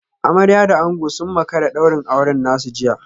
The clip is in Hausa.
Amarya da ango sun makara daurin auren nasu jiya